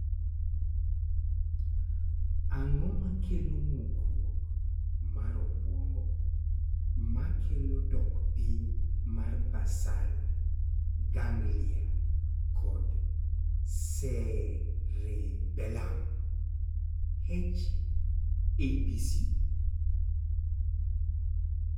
Ang�o ma kelo ng'ukruok mar obuongo ma kelo dok piny mar basal ganglia kod cerebellum (H ABC)?